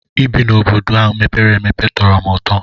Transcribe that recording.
Ị bi n'obodo mepere emepe tọrọ m ụtọ.